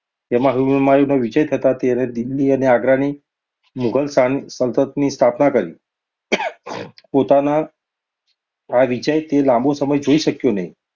તેમાં હુમાયુનો વિજય થતાં તેણે દિલ્હી અને આગ્રાની મુઘલ શાસનની સ્થાપના કરી. પોતાનો આ વિજય તે લાંબો સમય જોઈ શક્યો નહિ.